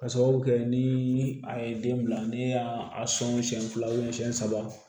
Ka sababu kɛ ni a ye den bila ne y'a sɔn siɲɛ fila siɲɛ saba